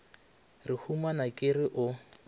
re humana ke re o